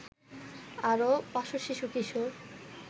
আরো ৫০০ শিশু-কিশোর